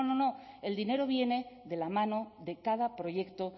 no no no el dinero viene de la mano de cada proyecto